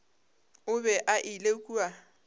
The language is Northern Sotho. o be a ile kua